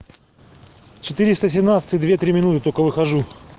четыреста семнадцатый две три минуты только выхожу